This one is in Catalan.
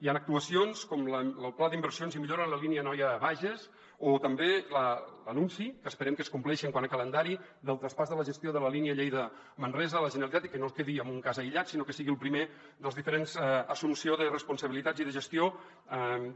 hi han actuacions com lo pla d’inversions i millora en la línia anoia bages o també l’anunci que esperem que es compleixi quant a calendari del traspàs de la gestió de la línia lleida manresa a la generalitat i que no es quedi en un cas aïllat sinó que sigui el primer de les diferents assumpcions de responsabilitats i de gestió